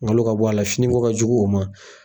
Nkalon ka bɔ a la finiko ka jugu o ma.